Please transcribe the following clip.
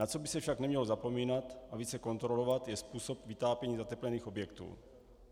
Na co by se však nemělo zapomínat a více kontrolovat, je způsob vytápění zateplených objektů.